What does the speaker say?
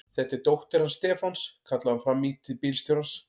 Þetta er dóttir hans Stefáns! kallaði hún fram í til bílstjórans.